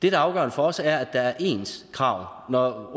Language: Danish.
er afgørende for os er at der er ens krav når